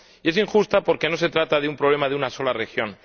Y es injusta porque no se trata de un problema de una sola región.